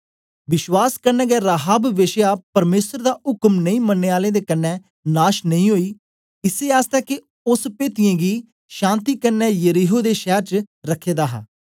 विश्वास कन्ने गै राहाब वेश्या परमेसर दा उक्म नेई मनने आलें दे कन्ने नाश नेई ओई इसै आसतै के ओस पेदियें गी शान्ति कन्ने यरीहो दे शैर च रखे दा हा